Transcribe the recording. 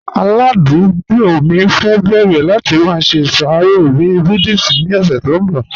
Aládùgbò mi fẹ́ bẹ̀rẹ̀ láti má ṣe iṣàrọ̀ bí Buddhist ni ọ̀ṣẹ̀ tó nbọ̀.